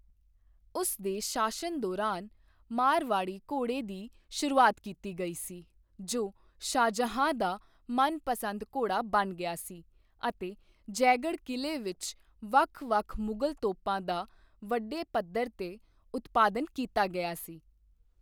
ਉਸ ਦੇ ਸ਼ਾਸਨ ਦੌਰਾਨ, ਮਾਰਵਾੜੀ ਘੋੜੇ ਦੀ ਸ਼ੁਰੂਆਤ ਕੀਤੀ ਗਈ ਸੀ, ਜੋ ਸ਼ਾਹਜਹਾਂ ਦਾ ਮਨਪਸੰਦ ਘੋੜਾ ਬਣ ਗਿਆ ਸੀ, ਅਤੇ ਜੈਗੜ੍ਹ ਕਿਲੇ ਵਿੱਚ ਵੱਖ ਵੱਖ ਮੁਗਲ ਤੋਪਾਂ ਦਾ ਵੱਡੇ ਪੱਧਰ 'ਤੇ ਉਤਪਾਦਨ ਕੀਤਾ ਗਿਆ ਸੀ।